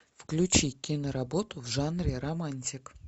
включи киноработу в жанре романтик